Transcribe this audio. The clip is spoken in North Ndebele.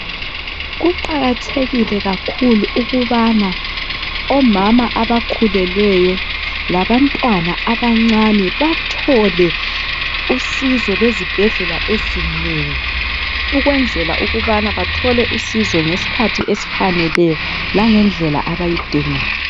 Kuqakathekile kakhulu ukubana omama abakhulelweyo, labantwana abancane bathole usizo lezibhedlela ezinengi. Ukwenzela ukubana bathole usizo ngesikhathi esifaneleyo langendlela abayidingayo.